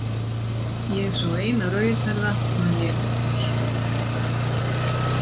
Ég sá eina rauðhærða, man ég eftir.